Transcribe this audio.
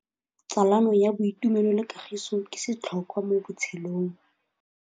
Tsalano ya boitumelo le kagiso ke setlhôkwa mo botshelong.